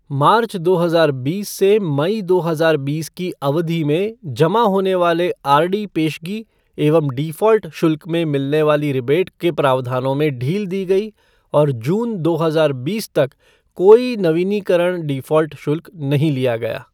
मार्च दो हजार बीस से मई दो हजार बीस की अवधि में जमा होने वाले आरडी पेशगी एवं डिफ़ॉल्ट शुल्क में मिलने वाली रिबेट के प्रावधानों में ढील दी गई और जून दो हजार बीस तक कोई नीवीनीकरण डिफॉल्ट शुल्क नहीं लिया गया।